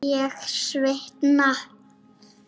Ég svitna.